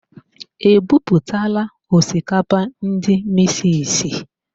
E buputala osikapa ndị misisi?